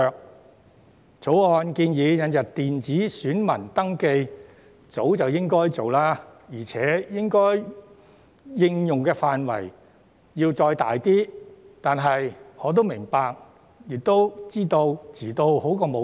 《條例草案》建議引入的電子選民登記冊，早應實施，而且應用範圍應進一步擴闊，但我也明白及知道遲做總勝於不做。